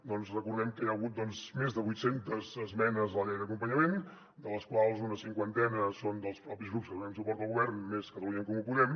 doncs recordem que hi ha hagut més de vuit centes esmenes a la llei d’acompanyament de les quals una cinquantena són dels propis grups que donem suport al govern més catalunya en comú podem